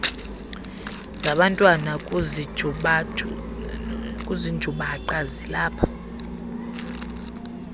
zabantwana kuzinjubaqa zilapha